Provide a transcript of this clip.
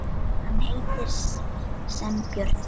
Hann heitir sem björn.